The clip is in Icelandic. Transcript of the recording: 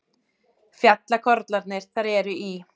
Fjallakollarnir þar eru í